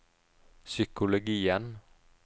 psykologien